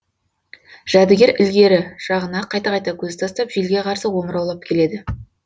жәдігер ілгері жағына қайта қайта көз тастап желге қарсы омыраулап келеді